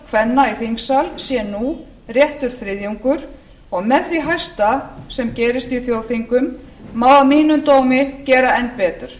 kvenna í þingsal sé nú réttur þriðjungur og með því hæsta sem gerist í þjóðþingum má að mínum dómi gera enn betur